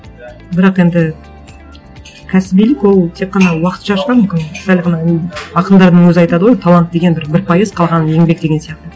бірақ енді кәсібилік ол тек қана уақытша шығар мүмкін сәл ғана ақындардың өзі айтады ғой талант деген бір бір пайыз қалғаны еңбек деген сияқты